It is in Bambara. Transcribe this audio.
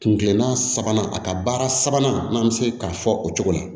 Kun kilenna sabanan a ka baara sabanan n'an bɛ se k'a fɔ o cogo la